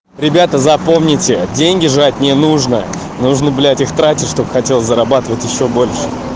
ребята запомните деньги жать не нужна нужно блядь их тратить чтобы хотел зарабатывать ещё больше